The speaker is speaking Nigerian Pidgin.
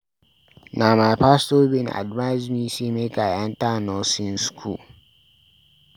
Na my pastor bin advice me sey make I enta nursing skool.